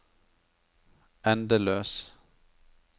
endeløs